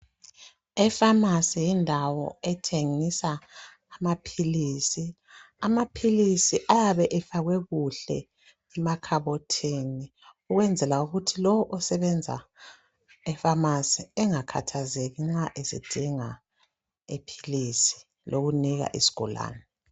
Efamasi yindawo ethengisa amaphilisi. Amaphilisi ayabe efakwe kuhle emakhabothini ukukwenzela ukuthi lo osebenza efamasi engakhathazeki nxa esedinga iphilisi lokunika isigulane.